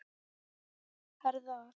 Herða að.